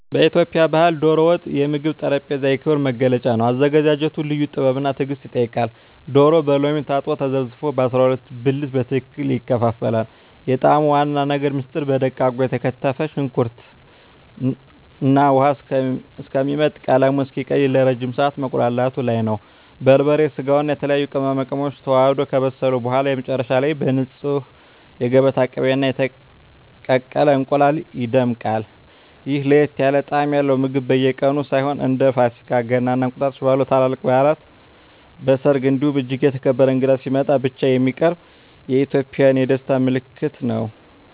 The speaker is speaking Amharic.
በኢትዮጵያ ባሕል "ዶሮ ወጥ" የምግብ ጠረጴዛ የክብር መገለጫ ነው። አዘገጃጀቱ ልዩ ጥበብና ትዕግስት ይጠይቃል፤ ዶሮው በሎሚ ታጥቦና ተዘፍዝፎ በ12 ብልት በትክክል ይከፋፈላል። የጣዕሙ ዋና ምስጢር በደቃቁ የተከተፈ ሽንኩርት ውሃው እስኪመጥና ቀለሙን እስኪቀይር ለረጅም ሰዓት መቁላላቱ ላይ ነው። በርበሬ፣ ስጋውና የተለያዩ ቅመማ ቅመሞች ተዋህደው ከበሰሉ በኋላ፣ መጨረሻ ላይ በንፁህ የገበታ ቅቤና በተቀቀለ እንቁላል ይደምቃል። ይህ ለየት ያለ ጣዕም ያለው ምግብ በየቀኑ ሳይሆን፣ እንደ ፋሲካ፣ ገና እና እንቁጣጣሽ ባሉ ታላላቅ በዓላት፣ በሰርግ እንዲሁም እጅግ የተከበረ እንግዳ ሲመጣ ብቻ የሚቀርብ የኢትዮጵያውያን የደስታ ምልክት ነው።